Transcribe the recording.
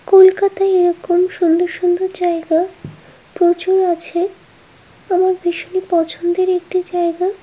কলকাতায় এইরকম সুন্দর সুন্দর জায়গা প্রচুর আছে আমার ভীষণ পছন্দের একটি জায়গা ।